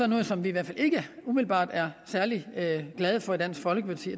noget som vi i hvert fald ikke umiddelbart er særlig glade for i dansk folkeparti